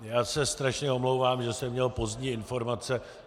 Já se strašně omlouvám, že jsem měl pozdní informace.